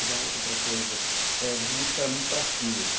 Outra coisa, eh você disse que eram muito traquinas.